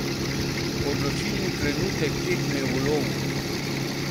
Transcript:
Odločilni trenutek tekme v Lvovu.